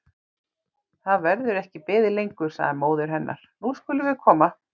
Það verður ekki beðið lengur, sagði móðir hennar, nú skulum við koma.